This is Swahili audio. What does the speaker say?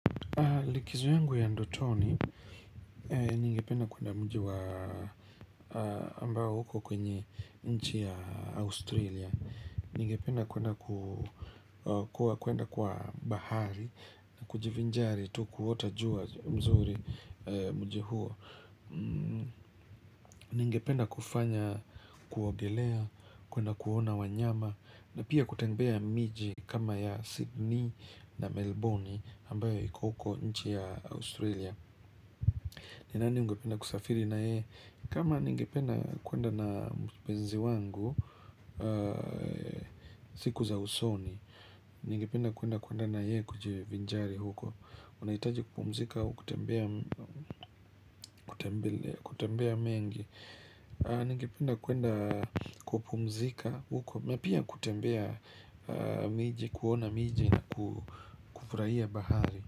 Likizo yangu ya ndotoni ningependa kuenda mji wa ambao uko kwenye nchi ya Australia ningependa kuenda kuenda kwa bahari na kujivinjari tu kuota jua mzuri mji huo ningependa kufanya kuogelea, kuenda kuona wanyama na pia kutembea miji kama ya Sydney na Melbourne ambayo iko huko nchi ya Australia. Ni nani ungependa kusafiri naye? Kama nigependa kuenda na mpenzi wangu siku za usoni nigependa kuenda kuenda naye kujivinjari huko. Unahiitaji kupumzika au kutembea kutembea mengi? Ningependa kuenda kupumzika huko. Na pia kutembea miji kuona miji na kufurahia bahari.